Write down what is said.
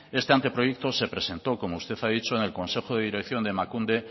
este anteproyecto se presentó como usted ha dicho en el consejo de dirección de emakunde